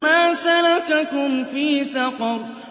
مَا سَلَكَكُمْ فِي سَقَرَ